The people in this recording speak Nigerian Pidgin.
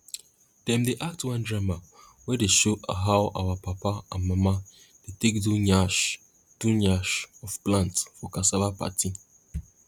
dem dey act one drama wey dey show how our papa and mama dey take do nyash do nyash of plant for cassava party